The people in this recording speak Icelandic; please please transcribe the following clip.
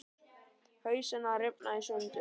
Hausinn að rifna í sundur.